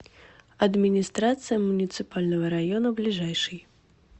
администрация муниципального района ближайший